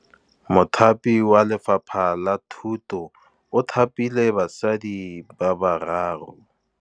Mothapi wa Lefapha la Thutô o thapile basadi ba ba raro.